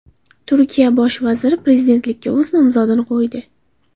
Turkiya bosh vaziri prezidentlikka o‘z nomzodini qo‘ydi.